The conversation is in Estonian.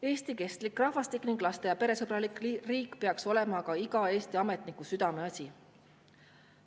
Eesti kestlik rahvastik ning laste- ja peresõbralik riik peaks olema aga iga Eesti ametniku südameasi.